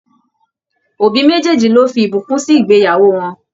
Òbí mejeeji ló fí ìbùkún sì ìgbéyàwó wọn.